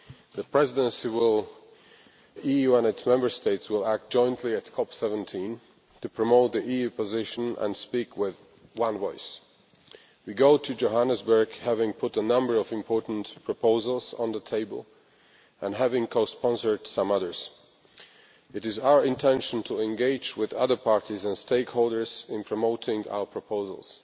The Presidency will make sure that the EU and its Member States will act jointly at CoP17 to promote the EU position and speak with one voice. We go to Johannesburg having put a number of important proposals on the table and having co sponsored some others. It is our intention to engage with other parties and stakeholders in promoting our proposals.